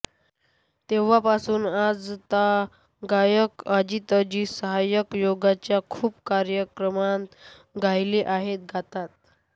तेव्हापासून आजतागायत अजितजी सहज योगाच्या खूप कार्यक्रमांत गायले आहेत गातात